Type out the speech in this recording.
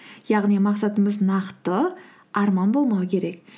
яғни мақсатымыз нақты арман болмау керек